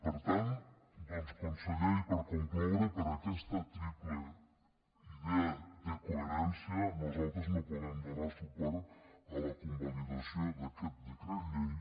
per tant doncs conseller i per concloure per aquesta triple idea de coherència nosaltres no podem donar suport a la convalidació d’aquest decret llei